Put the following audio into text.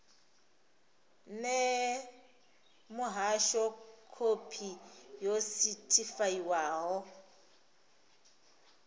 ṋee muhasho khophi yo sethifaiwaho